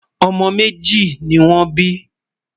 ọmọ méjì nì wón bí